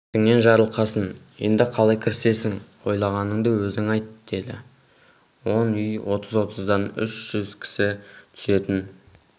бетіңнен жарылғасын енді қалай кірісесің ойлағаныңды өзің айт деді он үй отыз-отыздан үш жүз кісі түсетін